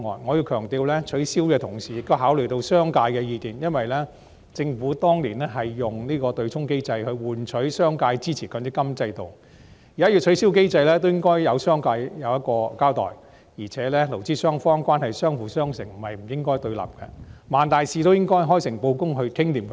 我要強調，取消對沖機制的同時，也要考慮商界的意見，因為政府當年是以對沖機制來換取商界支持強積金制度，現在要取消對沖機制，也應該對商界有所交代，而且勞資雙方關係是相輔相成，不應該對立，萬大事也應該開誠布公地商討妥當。